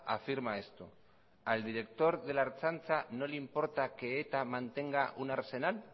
afirma esto al director de la ertzaintza no le importa que eta mantenga un arsenal